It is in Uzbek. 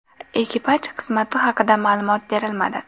Ekipaj qismati haqida ma’lumot berilmadi.